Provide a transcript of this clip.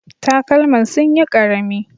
Takalman sunyi ƙarami